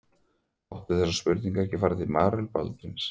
Átti þessi spurning ekki að fara á Marel Baldvins?